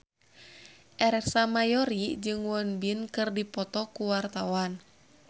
Ersa Mayori jeung Won Bin keur dipoto ku wartawan